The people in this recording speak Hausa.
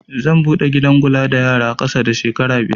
Zan buɗe gidan kula da yara ƙasa da shekara biyar